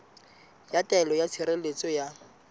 ya taelo ya tshireletso ya